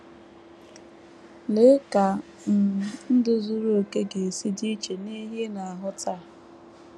Lee ka um ndụ zuru okè ga - esi dị iche n’ihe ị na - ahụ taa!